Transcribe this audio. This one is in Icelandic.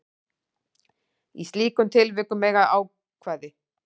Í slíkum tilvikum eiga ákvæði